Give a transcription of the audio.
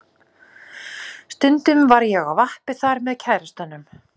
Stundum var ég á vappi þar með kærastanum.